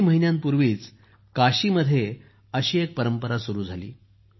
काही महिन्यांपूर्वी काशी मध्ये अशी एक परंपरा सुरू झाली